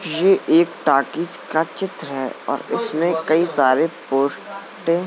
ये एक टाकीज का चित्र है और इसमें कई सारे पोस्टे --